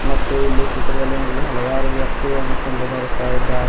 ಮತ್ತು ಇಲ್ಲಿ ಚಿತ್ರದಲ್ಲಿ ನಮಗೆ ಹಲವಾರು ವ್ಯಕ್ತಿಗಳುನ್ನು ಕಂಡು ಬರುತ್ತಾ ಇದ್ದಾರೆ.